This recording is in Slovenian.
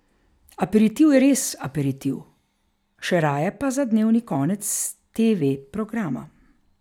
Aperitiv je res za aperitiv, še raje pa za dnevni konec teve programa.